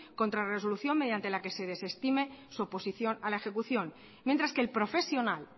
contra resolución mediante la que se desestime su oposición a la ejecución mientras que el profesional